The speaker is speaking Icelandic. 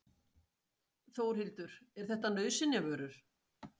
Þórhildur: Er þetta nauðsynjavörur?